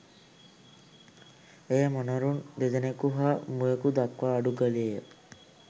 එය මොනරුන් දෙදෙනෙකු හා මුවෙකු දක්වා අඩු කළේ ය.